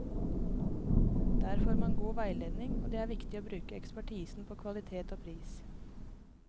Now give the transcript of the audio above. Der får man god veiledning, og det er viktig å bruke ekspertisen på kvalitet og pris.